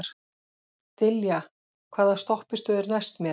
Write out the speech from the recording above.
Dilja, hvaða stoppistöð er næst mér?